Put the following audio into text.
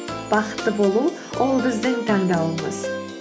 бақытты болу ол біздің таңдауымыз